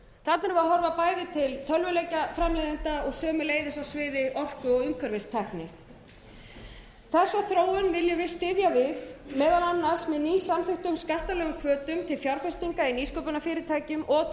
við að horfa bæði til tölvuleikjaframleiðenda og sömuleiðis á sviði orku og umhverfistækni þessa þróun viljum við styðja við meðal annars með ný samþykktum hvötum til fjárfestinga í nýsköpunarfyrirtækjum og til